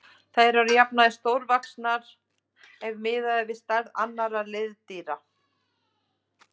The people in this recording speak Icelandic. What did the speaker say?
Þær eru að jafnaði stórvaxnar ef miðað er við stærð annarra liðdýra.